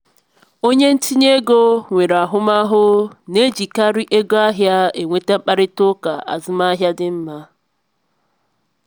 onye ntinye ego nwere ahụmahụ na-ejikarị oge ahịa e nweta mkparịta ụka azụmahịa dị mma.